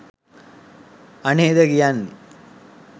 අනේද කියන්නේ